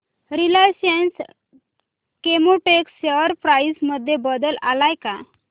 Reliance Chemotex share price मध्ये बदल आलाय का